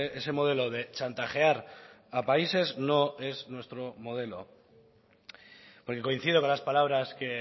ese modelo de chantajear a países no es nuestro modelo porque coincido con las palabras que